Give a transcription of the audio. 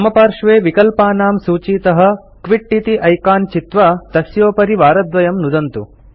वामपार्श्वे विकल्पानां सूचीतः क्विट इति ऐकान् चित्वा तस्योपरि वारद्वयं नुदन्तु